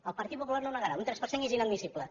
el partit popular no ho negarà un tres per cent és inadmissible